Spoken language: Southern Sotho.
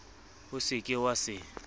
o se ke wa se